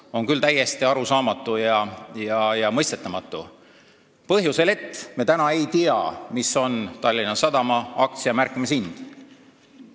See on küll täiesti arusaamatu ja mõistetamatu, seda põhjusel, et me ei tea, mis on Tallinna Sadama aktsia märkimishind.